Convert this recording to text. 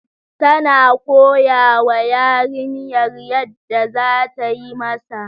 Tana koyawa yarinyar yadda za tayi Masa